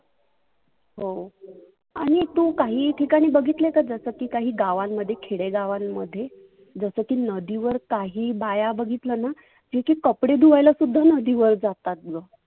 हो, आणि तु काही ठिकानी बघितल का? जस की गावांमध्ये खेडेगावांमध्ये जस की नदिवर काही बाया बघितलं ना जे की कपडे सुद्धा धुवायला नदीबर जातात.